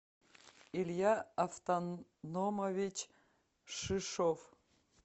илья автономович шишов